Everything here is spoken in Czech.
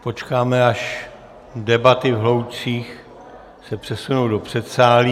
Počkáme, až debaty v hloučcích se přesunou do předsálí.